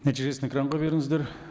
нәтижесін экранға беріңіздер